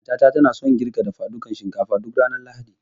Mata ta na son girkin dafadukan shinkafa duk ranar Lahadi